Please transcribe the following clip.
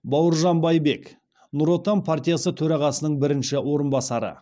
бауыржан байбек нұр отан партиясы төрағасының бірінші орынбасары